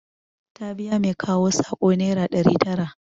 Ta biya mai kawo saƙo nera ɗari tara